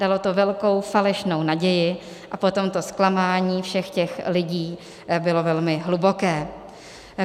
Dalo to velkou falešnou naději, a potom to zklamání všech těch lidí bylo velmi hluboké.